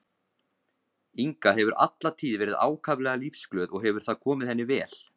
Inga hefur alla tíð verið ákaflega lífsglöð og hefur það komið henni vel.